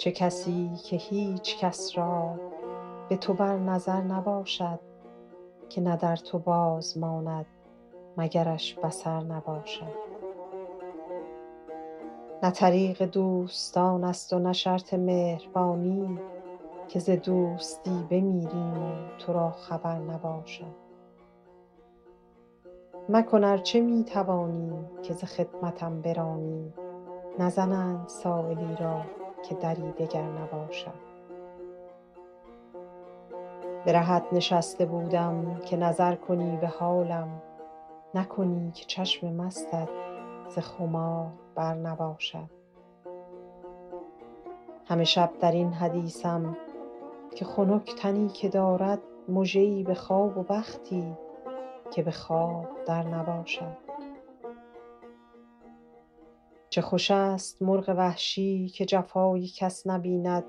چه کسی که هیچ کس را به تو بر نظر نباشد که نه در تو باز ماند مگرش بصر نباشد نه طریق دوستان است و نه شرط مهربانی که ز دوستی بمیریم و تو را خبر نباشد مکن ار چه می توانی که ز خدمتم برانی نزنند سایلی را که دری دگر نباشد به رهت نشسته بودم که نظر کنی به حالم نکنی که چشم مستت ز خمار بر نباشد همه شب در این حدیثم که خنک تنی که دارد مژه ای به خواب و بختی که به خواب در نباشد چه خوش است مرغ وحشی که جفای کس نبیند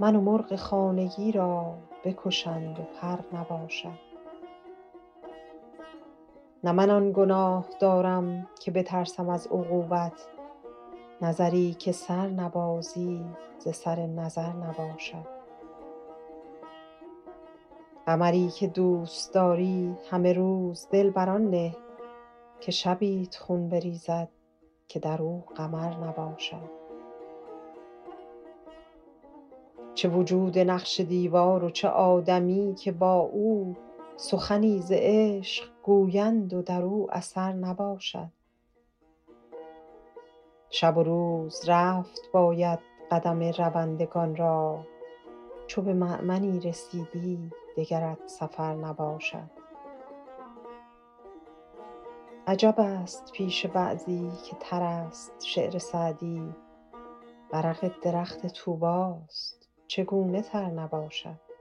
من و مرغ خانگی را بکشند و پر نباشد نه من آن گناه دارم که بترسم از عقوبت نظری که سر نبازی ز سر نظر نباشد قمری که دوست داری همه روز دل بر آن نه که شبیت خون بریزد که در او قمر نباشد چه وجود نقش دیوار و چه آدمی که با او سخنی ز عشق گویند و در او اثر نباشد شب و روز رفت باید قدم روندگان را چو به مأمنی رسیدی دگرت سفر نباشد عجب است پیش بعضی که تر است شعر سعدی ورق درخت طوبی ست چگونه تر نباشد